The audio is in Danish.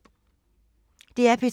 DR P2